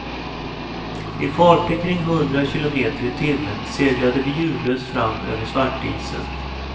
I farter kring hundra kilometer i timmen seglade vi ljudlöst fram över svartisen.